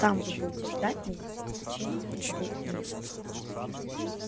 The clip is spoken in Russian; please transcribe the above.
там вы будете ждать меня в течение двух месяцев